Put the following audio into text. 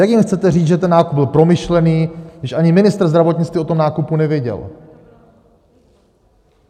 Jak jim chcete říct, že ten nákup byl promyšlený, když ani ministr zdravotnictví o tom nákupu nevěděl?